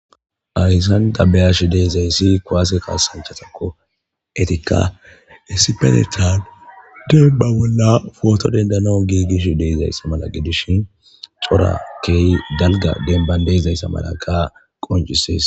ayssan dabeyash deezayssi kwaase kaasanchatakko etika isipenetan deeba bolla footo dendano giigish deezayssa mala gidishin cora kehy galga denban deezayssa malaka qoncisees